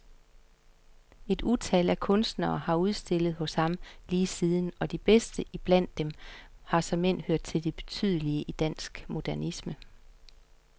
Et utal af kunstnere har udstillet hos ham lige siden, og de bedste iblandt dem har såmænd hørt til de betydelige i dansk modernisme.